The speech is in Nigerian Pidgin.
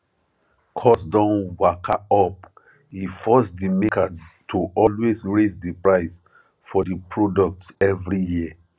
cost don waka up e force di maker to always raise di price for di products every year